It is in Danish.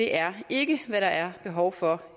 er ikke hvad der er behov for